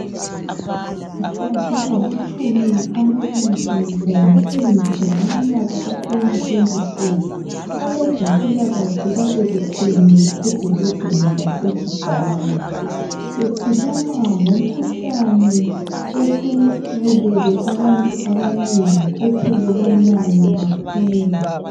Mhla zingamatshumi amabili ngo Mfumfu ngomnyaka ka 2024 abezempilakahle babebuthene edolobheni lasekigali bekhuluma ngomkhuhlane osubulele abantu abanengi othelelwanayo kakhulu